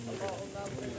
Yaxşı, yaxşı.